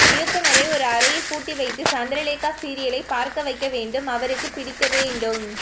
இயக்குனரை ஒரு அரையில்புட்டி வைத்து சந்திர லேகா சிரியல்லை பார்க்க வைக்கவேண்டும் அவருக்குபிடிக்கவேண்டும்